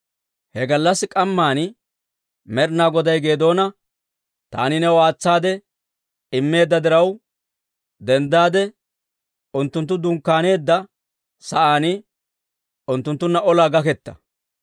He gallassi k'amman Med'inaa Goday Geedoona, «Taani new aatsaade immeedda diraw, denddaade unttunttu dunkkaaneedda sa'aan unttunttunna olaa gaketta.